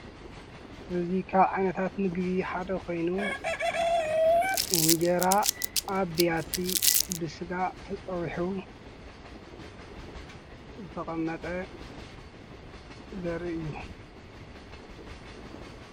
እዙይካብ ዓይነታት ምግቢ ሓደ ኾይኑ እንጀራ ኣብያቲ ብሥጋ ተጸዊኁቡ ዘተቐመጠ ዘርኢ እዩ::